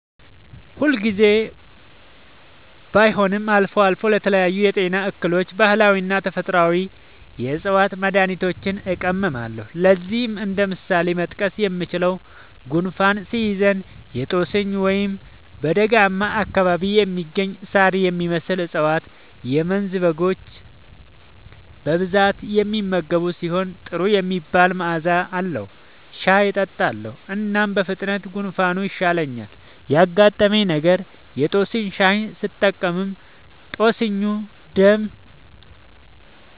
ሁል ጊዜ ባይሆንም አልፎ አልፎ ለተለያዩ የጤና እክሎች ባህላዊና ተፈጥአዊ የ ዕፅዋት መድሀኒቶችን እጠቀማለሁ። ለዚህም እንደ ምሳሌ መጥቀስ የምችለው፣ ጉንፋን ሲይዘኝ የ ጦስኝ (በደጋማ አካባቢ የሚገኝ ሳር የሚመስል እፀዋት - የመንዝ በጎች በብዛት የሚመገቡት ሲሆን ጥሩ የሚባል መዐዛ አለዉ) ሻይ እጠጣለሁ። እናም በፍጥነት ጉንፋኑ ይሻለኛል። ያጋጠመኝ ነገር:- የ ጦስኝ ሻይ ስጠቀም ጦስኙ ደም